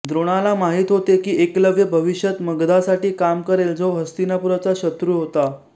द्रोणाला माहित होते की एकलव्य भविष्यात मगधासाठी काम करेल जो हस्तिनापूरचा शत्रू होता